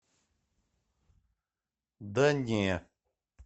да не